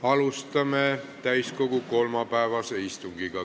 Alustame täiskogu kolmapäevast istungit.